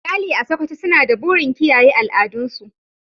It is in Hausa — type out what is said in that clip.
Iyali a Sokoto suna da burin kiyaye al'adun su.